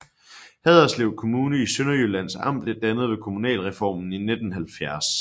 Haderslev Kommune i Sønderjyllands Amt blev dannet ved kommunalreformen i 1970